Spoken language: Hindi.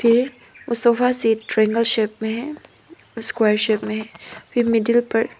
वो सोफासेट ट्रायंगल शेप में है स्क्वायर शेप में है फिर मिडिल पर--